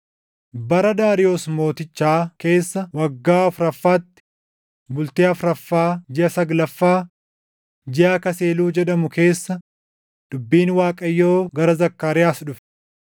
Bara Daariyoos Mootichaa keessa waggaa afuraffaatti, bultii afuraffaa jiʼa saglaffaa, jiʼa Kaaseluu jedhamu keessa dubbiin Waaqayyoo gara Zakkaariyaas dhufe.